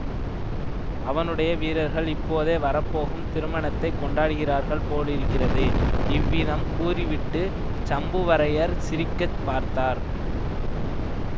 அவனுடைய வீரர்கள் இப்போதே வர போகும் திருமணத்தைக் கொண்டாடுகிறார்கள் போலிருக்கிறது இவ்விதம் கூறிவிட்டு சம்புவரையர் சிரிக்கப் பார்த்தார்